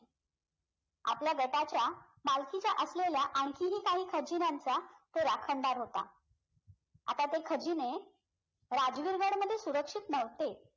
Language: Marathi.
आपल्या गटाच्या मालकीच्या असलेल्या आणखीही काही खजिन्यांचा तो राखणदार होता आता ते खजिने राजवीर गडमध्ये सुरक्षित नवते